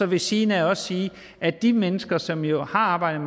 ved siden af også sige at de mennesker som jo har arbejdet